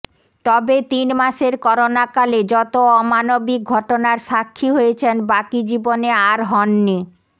তবে তিন মাসের করোনাকালে যত অমানবিক ঘটনার সাক্ষী হয়েছেন বাকি জীবনে আর হননি